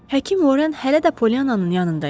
Həkim Horren hələ də Pollyanannın yanında idi.